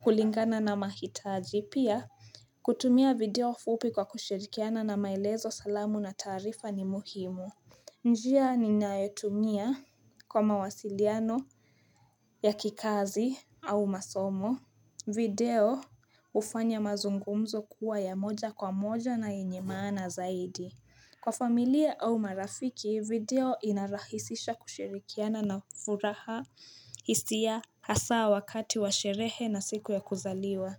kulingana na mahitaji. Pia kutumia video fupi kwa kushirikiana na maelezo salamu na tarifa ni muhimu njia ninaetumia kwa mawasiliano ya kikazi au masomo video ufanya mazungumzo kuwa ya moja kwa moja na inyemana zaidi Kwa familia au marafiki video inarahisisha kushirikiana na furaha hisia hasaa wakati wa sherehe na siku ya kuzaliwa.